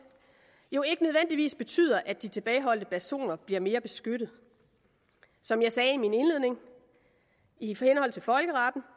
jo ikke nødvendigvis betyder at de tilbageholdte personer bliver mere beskyttet som jeg sagde i min indledning i henhold til folkeretten